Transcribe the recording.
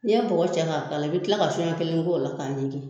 N'i ye bɔgɔ cɛ k'a k'a la i bɛ tila ka so ɲɛ kelen k'o la k'a ɲigin